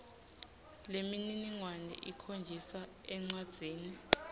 lemininingwane ikhonjiswa encwadzini